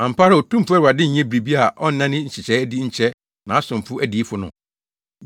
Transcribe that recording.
Ampa ara, Otumfo Awurade nyɛ biribi a ɔnna ne nhyehyɛe adi nkyerɛ nʼAsomafo adiyifo no.